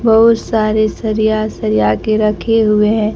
बहुत सारे सरिया सरिया के रखे हुए हैं।